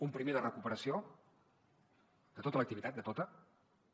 un primer de recuperació de tota l’activitat de tota